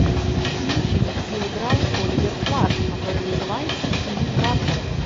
кинчик где играл оливер платт который называется синий трактор